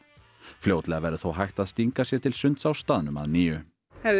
fljótlega verður þó hægt að stinga sér til sunds á staðnum að nýju